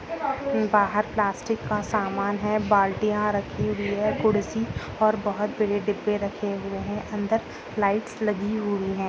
बाहर प्लास्टिक का सामान है बाल्टियां रखी हुई है। कुर्सी और बहुत बड़े डिब्बे रखे हुए है। अंदर लाइट्स लगी हुई है।